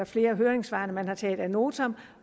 flere af høringssvarene der er taget ad notam